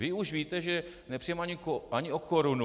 Vy už víte, že nepřijdeme ani o korunu.